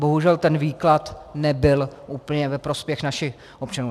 Bohužel ten výklad nebyl úplně ve prospěch našich občanů.